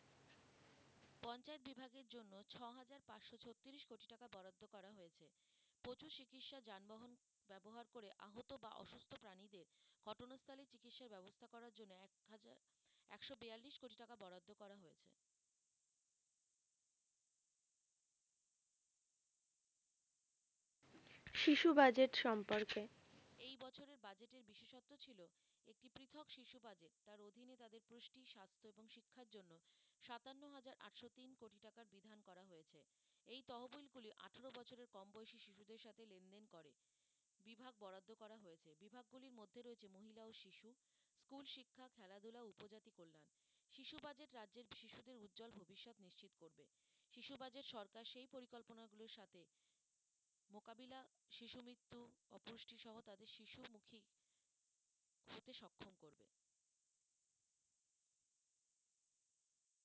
শিশু বাজেট সম্পর্কে,